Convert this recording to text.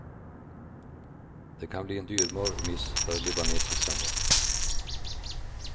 Det kan bli en dyrbar miss för libanesiskan det.